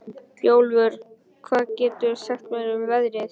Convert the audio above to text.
Bjólfur, hvað geturðu sagt mér um veðrið?